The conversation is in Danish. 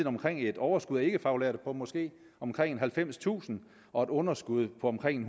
omkring et overskud af ikkefaglærte på måske omkring halvfemstusind og et underskud på omkring